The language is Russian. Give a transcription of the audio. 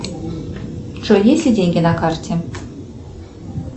джой есть ли деньги на карте